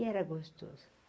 E era gostoso.